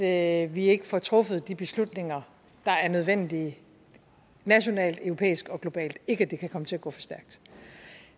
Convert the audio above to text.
at vi ikke får truffet de beslutninger der er nødvendige nationalt europæisk og globalt og ikke at det kan komme til at gå for stærkt